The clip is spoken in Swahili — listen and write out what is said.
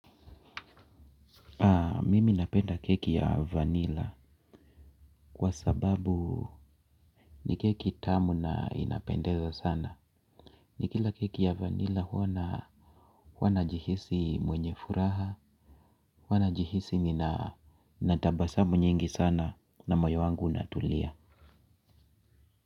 Mimi napenda keki ya vanila kwa sababu ni keki tamu na inapendeza sana. Ni kila keki ya vanila huwa najihisi mwenye furaha huwa najihisi ninatabasamu nyingi sana na moyo wangu unatulia.